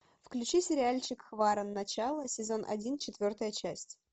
включи сериальчик хваран начало сезон один четвертая часть